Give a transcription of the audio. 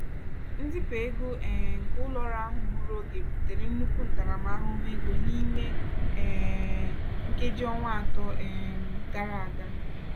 nzipụ ego um nke ụlọ ọrụ ahụ gburu oge butere nnukwu ntaramahụhụ ego n'ime um nkeji ọnwa atọ um gara aga.